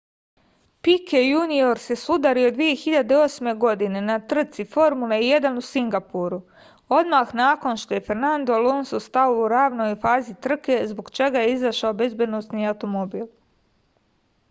pike junior se sudario 2008. godine na trci formule 1 u singapuru odmah nakon što je fernadno alonso stao u ranoj fazi trke zbog čega je izašao bezbednosni automobil